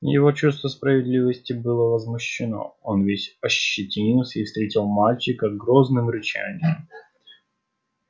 его чувство справедливости было возмущено он весь ощетинился и встретил мальчика грозным рычанием